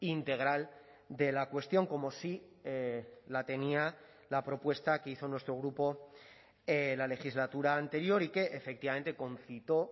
integral de la cuestión como sí la tenía la propuesta que hizo nuestro grupo la legislatura anterior y que efectivamente concitó